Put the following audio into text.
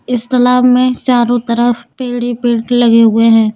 इस तालाब में चारों तरफ पीले पेंट लगे हुए हैं।